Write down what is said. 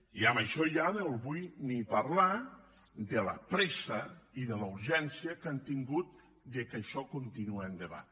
i amb això ja no vull ni parlar de la pressa ni de la urgència que han tingut que això continuï endavant